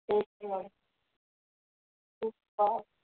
okay